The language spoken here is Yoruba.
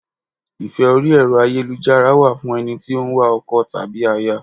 Ìfẹ́ orí Ẹ̀rọ ayélujára wà fún ẹni tí ó ń wá ọkọ tàbí aya.